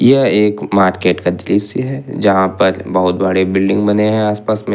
यह एक मार्केट का दृश्य है जहां पर बहुत बड़े बिल्डिंग बने हैं आस पास में।